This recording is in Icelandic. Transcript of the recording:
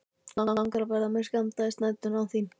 Langar verða mér skammdegisnæturnar án þín.